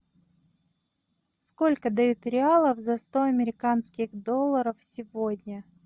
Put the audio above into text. сколько дают реалов за сто американских долларов сегодня